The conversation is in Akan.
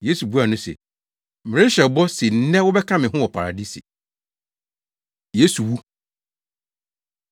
Yesu buaa no se, “Merehyɛ wo bɔ se nnɛ wobɛka me ho wɔ Paradise.” Yesu Wu